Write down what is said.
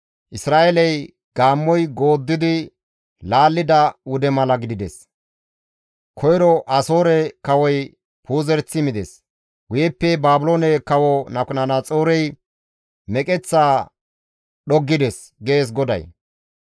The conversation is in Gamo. «Isra7eeley gaammoy gooddidi laallida wude mala gidides; koyro Asoore kawoy puuzerethi mides; guyeppe Baabiloone kawo Nabukadanaxoorey meqeththaa dhoggides» gees GODAY.